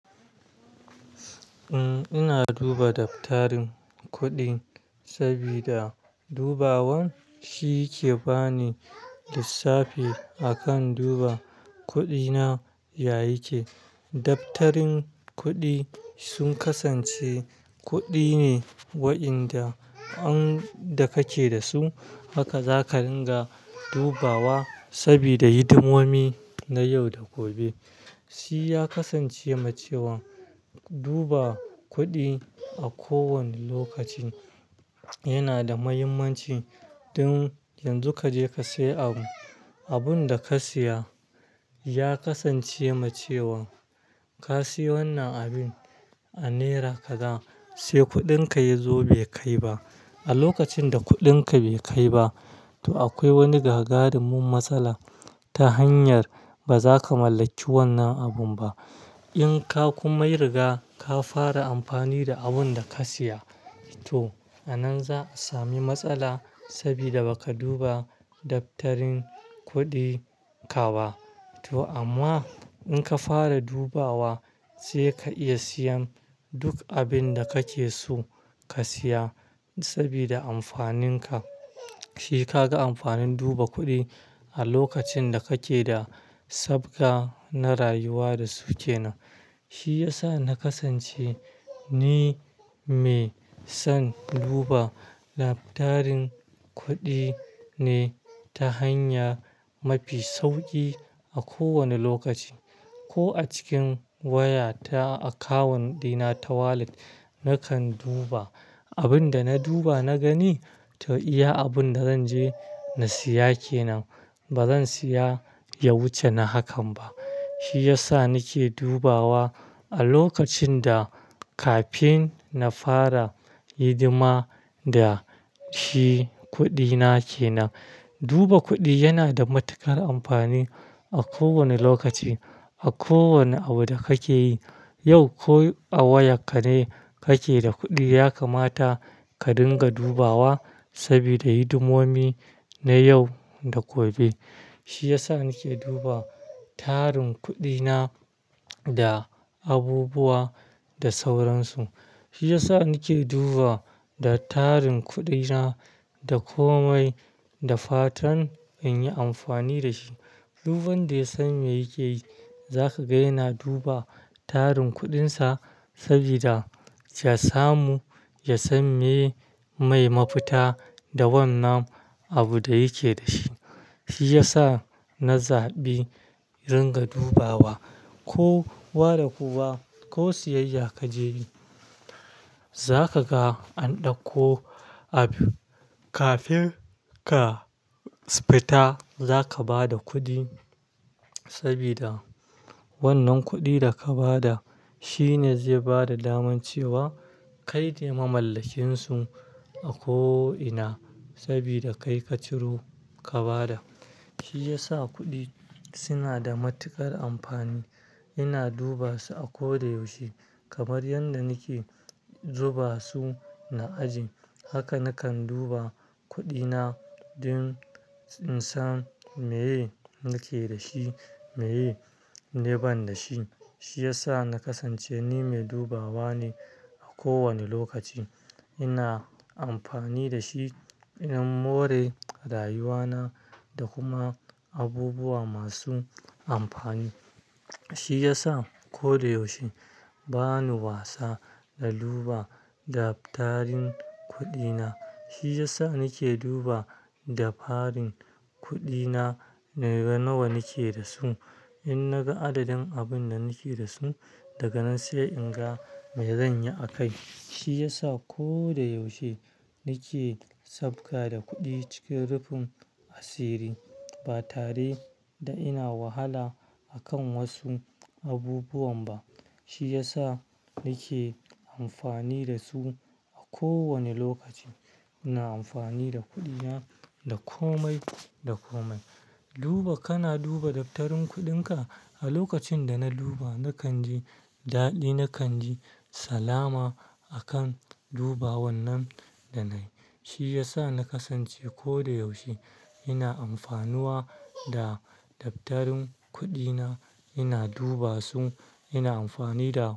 Eh, ina duba daftarin kuɗin sabida dubawan ke bani lissafi akan duba kuɗina ya yake. Daftarin kuɗi sun kasance kuɗi ne wa'inda inda ka ke da su, haka za ka dinga dubawa sabida hidimomi na yau da gobe. Shi ya kasance ma cewa duba kuɗi a kowane lokaci yana da muhimmanci. Don, yanzu ka je ka sayi abu, abin da ka siya ya kasance ma cewa ka sayi wannan abin a naira kaza, sai kuɗinka ya zo bai kai ba. A lokacin da kuɗinka bai kai ba, to akwai wani gagarumin matsala ta hanyar baza ka mallaki wannan abun ba. In ka kuma riga ka fara amfani da abun da ka siya, to a nan za a sami matsala sabida baka duba daftarin kuɗi ka ba. To amma in ka fara dubawa, sai ka iya siyan duk abin da kake so ka siya saboda amfanin ka. Shi ka ga amfanin duba kuɗin a lokacin da kake da sabgan na rayuwa da su kenan. Shi ya sa na kasance ni mai son duba daftarin kuɗi ne ta hanya mafi sauƙi a kowane lokaci. Ko a cikin waya ta akawun ɗina ta wallet, nakan duba. Abin da na duba na gani, to iya abin da zanje na siya kenan. Bazan siya ya wuce na hakan ba. Shi ya sa nake dubawa a lokacin da kafin na fara hidima da shi kuɗina kenan. Duba kuɗi yana da matuƙar amfani a kowane lokaci, a kowane abu da kake yi. Yau ko a wayan ka ne kake da kuɗi, ya kamata ka dinga dubawa sabida hidimomi na yau da gobe. Shi ya sa nake duba tarin kuɗina da abubuwa da sauransu. Shi ya sa nake duba da tarin kuɗina da komai da fatan in yi amfani da shi. Duk wanda ya san me yake yi, zaka ga yana duba tarin kuɗinsa sabida ya samu, ya san miye mai mafita da wannan abu da yake da shi. Shi ya sa na zaɓi ringa dubawa. Ko wa da kowa, ko siyayya kaje yi, zaka ga an ɗauko abu. Kafin ka fita, zaka ba da kuɗi sabida wannan kuɗi da ka ba da shine zai ba da daman cewa kai ne mamallakin su a ko ina, sabida kai ka ciro ka ba da. Shi ya sa kuɗi suna da matuƙar amfani. Ina duba su a ko da yaushe kamar yadda nake zuba su na aje. Haka nakan duba kuɗina don in san miye nake da shi, miye ne ban da shi. Shi ya sa na kasance ni mai dubawa ne a kowane lokaci. Ina amfani da shi in more rayuwana da kuma abubuwa masu amfani. Shi ya sa koda yaushe bani wasa na duba daftarin kuɗina. Shi ya sa nake duba da farin kuɗina, naga nawa nake da su. In naga adadin abun da nake da su, daga nan sai in ga me zanyi akai. Shi ya sa ko da yaushe nake sabga da kuɗi cikin rufin asiri, ba tare da ina wahala akan wasu abubuwan ba. Shi ya sa nake amfani da su a kowane lokaci. Ina amfani da kuɗina da komai da komai. Duba, kana duba daftarin kuɗinka. A lokacin da na duba, nakan ji daɗi, nakan ji salama akan duba wannan da na yi. Shi ya sa na kasance koda yaushe ina amfanuwa da daftarin kuɗina, ina duba su, ina amfani da.